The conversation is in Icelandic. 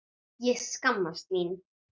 Ég skammast mín!